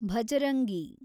Bajrangi